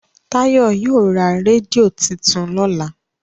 Tayo yio rà rédíò títún lọla.